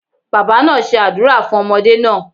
Baba naa se àdúrà fun ọmọdé naa